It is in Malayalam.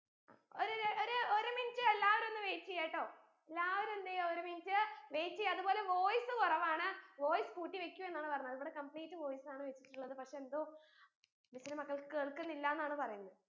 ഒരൊര് ഒര് ഒരു minute എല്ലാവരും ഒന്ന് wait എയ്യാട്ടോ എല്ലാവരും എന്തയ്യ ഒരു minute wait എയ്യാ അത് പോലെ voice കുറവാണ് voice കൂട്ടി വെക്കൂ എന്നാണ് പറഞ്ഞത് ഇവിടെ complete voice ആണ് വച്ചിട്ടുള്ളത് പക്ഷേ എന്തോ miss ന്റെ മക്കൾക്ക് കേൾക്കുന്നില്ല എന്നാണ് പറയിന്നെ